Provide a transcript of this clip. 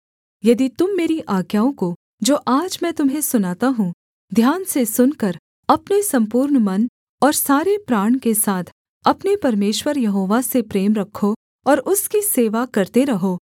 यदि तुम मेरी आज्ञाओं को जो आज मैं तुम्हें सुनाता हूँ ध्यान से सुनकर अपने सम्पूर्ण मन और सारे प्राण के साथ अपने परमेश्वर यहोवा से प्रेम रखो और उसकी सेवा करते रहो